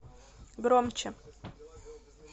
громче